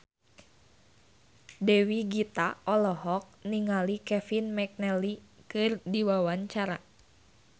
Dewi Gita olohok ningali Kevin McNally keur diwawancara